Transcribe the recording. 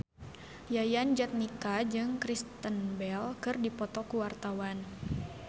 Yayan Jatnika jeung Kristen Bell keur dipoto ku wartawan